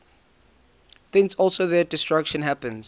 thence also their destruction happens